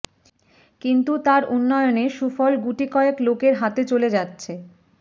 কিন্তু তার উন্নয়নে সুফল গুটিকয়েক লোকের হাতে চলে যাচ্ছে